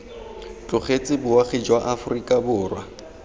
tlogetse boagi jwa aforika borwa